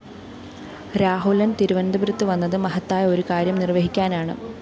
രാഹുലന്‍ തിരുവനന്തപുരത്ത് വന്നത് മഹത്തായ ഒരുകാര്യം നിര്‍വഹിക്കാനാണ്